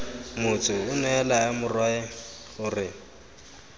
motsu onea laya morwae gore